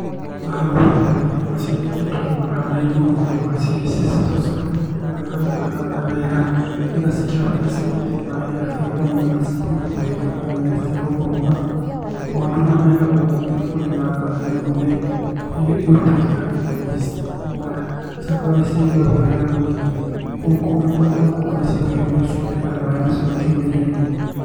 Haha nguona karĩ nyama cianĩkĩtwo mũkanda igũrũ, nyama cicehũrĩtwo wega mũtaranda wega. Nĩ getha cikĩũmĩre cigĩite maaĩ nĩ getha cikorwo nĩ nyama cikũigwo kahinda kanene citegũthũka. Na maũndũ maya mekagwo kũrĩa kũrĩ na ng'aragu nene, ĩĩ gũgatuĩka nyama citikũra cigakorwo nĩ ciagwo wega na ningĩ kũngĩ nĩ citagĩrĩrio cumbĩ nĩ getha maaĩ macio makiume ihenya.